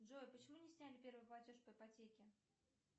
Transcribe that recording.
джой почему не сняли первый платеж по ипотеке